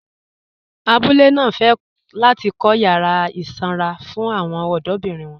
Àbúlé náà fẹ́ láti kọ̀ yàrà isanra fún awọn ọdọ̀birin wọn